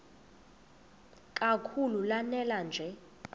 kakhulu lanela nje